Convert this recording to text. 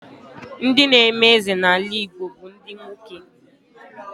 Ndị n'eme eze n'ala Igbo bụ ndị nwoke.